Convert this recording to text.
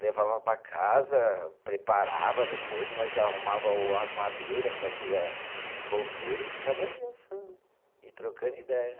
Levava para casa, preparava, depois nós já arrumava o as madeira, fazia fogueira e ficava ali assando e trocando ideia.